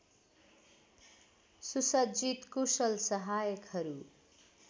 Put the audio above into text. सुसज्जित कुशल सहायकहरू